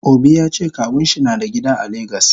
Obi yace kawunshi nada gida a lagos.